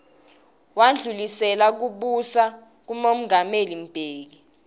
wandlulisela kubusa kumongameli mbeki